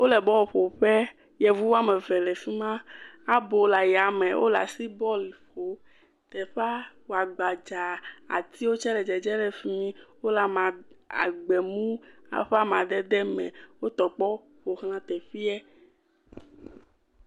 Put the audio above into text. Wole bɔluƒoƒe, yevu wo ame eve le fi ma, abo le yame, wole asi bɔlu ƒom. Teƒea wo gbadzaa, atiwo tsɛ le dzedzem le fi mi, wole gbemu, woƒe amadede me. Wotɔ kpɔ ƒo xlã teƒea.